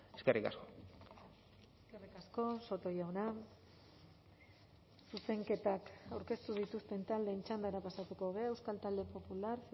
eskerrik asko eskerrik asko soto jauna zuzenketak aurkeztu dituzten taldeen txandara pasatuko gara euskal talde popular